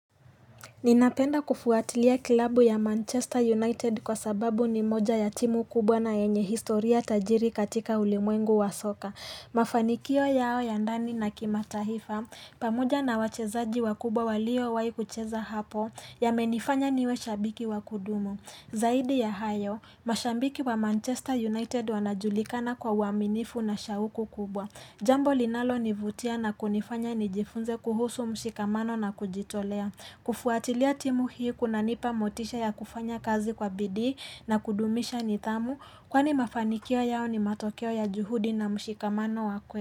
Ninapenda kufuatilia kilabu ya Manchester United kwa sababu ni moja ya timu kubwa na yenye historia tajiri katika ulimwengu wa soka Mafanikio yao ya ndani na kimataifa pamoja na wachezaji wakubwa walio wai kucheza hapo yamenifanya niwe shabiki wa kudumu Zaidi ya hayo mashabiki wa Manchester United wanajulikana kwa uaminifu na shauku kubwa Jambo linalo nivutia na kunifanya nijifunze kuhusu mshikamano na kujitolea kufuatilia timu hii kunanipa motisha ya kufanya kazi kwa bidii na kudumisha nidhamu Kwani mafanikia yao ni matokeo ya juhudi na mshikamano wa kwe.